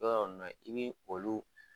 Dɔrɔ na ye i ni olu